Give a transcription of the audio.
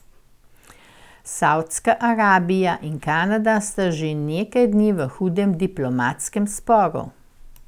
Savdska Arabija in Kanada sta že nekaj dni v hudem diplomatskem sporu.